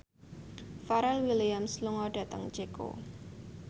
Pharrell Williams lunga dhateng Ceko